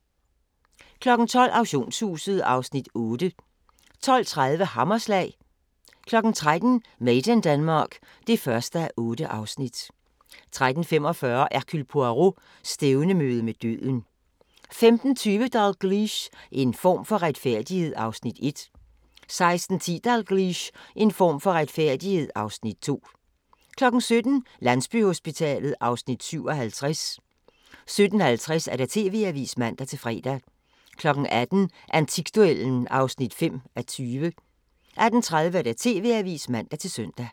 12:00: Auktionshuset (Afs. 8) 12:30: Hammerslag 13:00: Made in Denmark (1:8) 13:45: Hercule Poirot: Stævnemøde med døden 15:20: Dalgliesh: En form for retfærdighed (Afs. 1) 16:10: Dalgliesh: En form for retfærdighed (Afs. 2) 17:00: Landsbyhospitalet (Afs. 57) 17:50: TV-avisen (man-fre) 18:00: Antikduellen (5:20) 18:30: TV-avisen (man-søn)